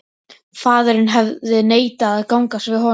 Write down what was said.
Faðirinn hafði neitað að gangast við honum.